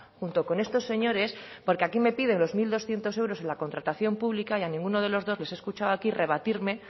junto con estos señores porque aquí me piden los mil doscientos euros en la contratación pública y a ninguno de los dos les he escuchado aquí rebatirme